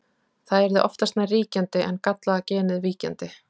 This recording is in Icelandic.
það yrði oftast nær ríkjandi en gallaða genið víkjandi